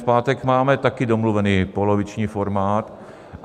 V pátek máme také domluvený poloviční formát.